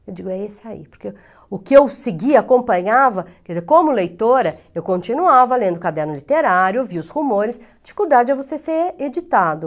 Eu digo, é esse aí, porque o que eu seguia, acompanhava, quer dizer, como leitora, eu continuava lendo o caderno literário, ouvia os rumores, dificuldade é você ser editado.